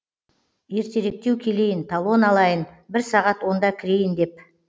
ертеректеу келейін талон алайын бір сағат онда кірейін деп